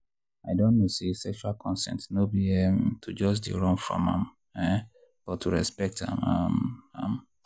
i don know say sexual consent no be um to just dey run from am um but to respect um am.